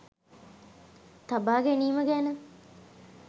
තබා ගැනීම ගැන